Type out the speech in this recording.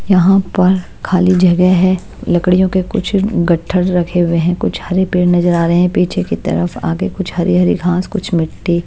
यहाँ पर खाली जगह है लकड़ियों के कुछ गट्ठर रखे हुए हैं कुछ हरे पेड़ नजर आ रहे हैं पीछे की तरफ आगे कुछ हरी-हरी घास कुछ मिट्टी--